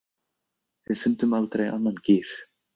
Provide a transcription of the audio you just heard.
Við fundum aldrei annan gír.